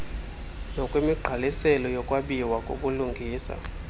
nokwemigqaliselo yokwabiwa kobulungisa